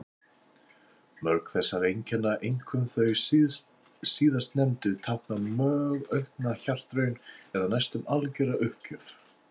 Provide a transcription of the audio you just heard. Mörg þessara einkenna, einkum þau síðastnefndu, tákna mjög aukna hjartaraun eða næstum algjöra uppgjöf.